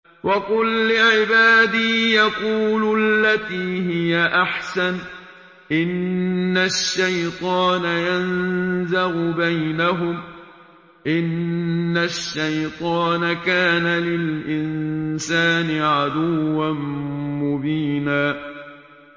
وَقُل لِّعِبَادِي يَقُولُوا الَّتِي هِيَ أَحْسَنُ ۚ إِنَّ الشَّيْطَانَ يَنزَغُ بَيْنَهُمْ ۚ إِنَّ الشَّيْطَانَ كَانَ لِلْإِنسَانِ عَدُوًّا مُّبِينًا